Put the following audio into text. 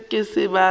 se ke a ba a